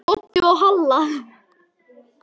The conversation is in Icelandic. Doddi og Halla!